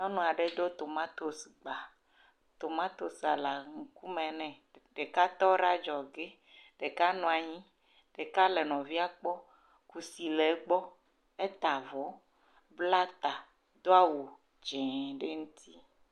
Nyɔnu aɖe ɖo tomatosi gba. Tomatosia le nu me nɛ. Ɖeka tɔ ɖe adzɔge, ɖeka nɔ anyi, ɖeka le nɔvia gbɔ si le gbɔ heta avɔ, bla ta, do awu dzi ɖe edzi.